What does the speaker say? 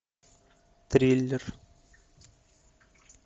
триллер